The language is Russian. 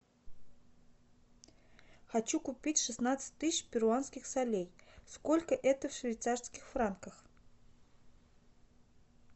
хочу купить шестнадцать тысяч перуанских солей сколько это в швейцарских франках